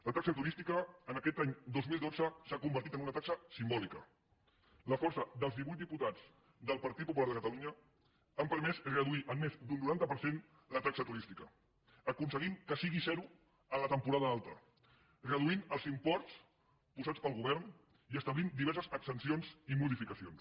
la taxa turística aquest any dos mil dotze s’ha convertit en una taxa simbòlica la força dels divuit diputats del partit popular de catalunya ha permès reduir en més d’un noranta per cent la taxa turística ha aconseguit que sigui zero la temporada alta ha reduït els imports posats pel govern i ha establert diverses exempcions i modificacions